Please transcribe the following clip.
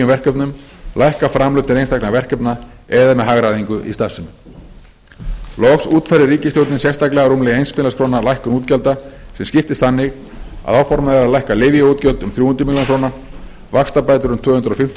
verkefnum lækka framlög til einstaka verkefna eða með hagræðingu í starfsemi loks útfærði ríkisstjórnin sérstaklega rúmlega eins milljarðs króna lækkun útgjalda sem skiptist þannig að áformað er að lækka lyfjaútgjöld um þrjú hundruð milljóna króna vaxtabætur um tvö hundruð fimmtíu